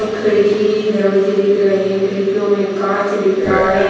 खिड़की दरवाजे दिख रहे हैं खिड़कियों में कांच दिख रहा है।